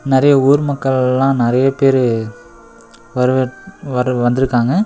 நறைய ஊர் மக்கள் எல்லா நறைய பேரு வருக வரு வந்திருக்காங்க.